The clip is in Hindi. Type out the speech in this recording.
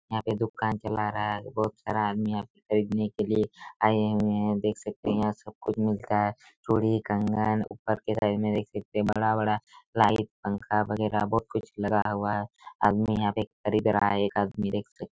यहाँ पे दुकान चला रहा है बहोत सारा है आदमी यहाँ पे खरीदने के लिए आए हुए है देख सकते है यहाँ सब कुछ मिलता है चूड़ी कंगन ऊपर के तरफ देख सकते है बड़ा-बड़ा लाइट पंखा वगेरा बहोत कुछ लगाया हुआ है आदमी यहाँ खरीद रहा है एक आदमी दे सकते--